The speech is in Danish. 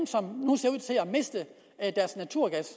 ser at miste deres naturgas